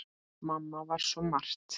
Mamma var svo margt.